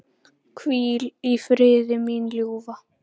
Hvíl í friði, mín ljúfa.